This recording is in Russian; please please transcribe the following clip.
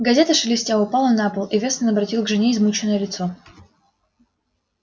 газета шелестя упала на пол и вестон обратил к жене измученное лицо